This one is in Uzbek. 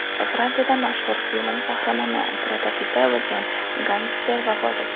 Fransiyada mashhur film qahramoni prototipi bo‘lgan gangster vafot etdi.